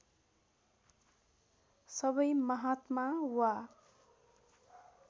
सबै महात्मा वा